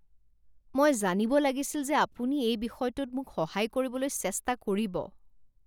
মই জানিব লাগিছিল যে আপুনি এই বিষয়টোত মোক সহায় কৰিবলৈ চেষ্টা কৰিব